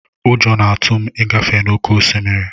Ụjọ na-atụ m ịgafe n'oké osimiri.